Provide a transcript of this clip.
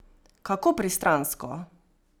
Kako pristransko!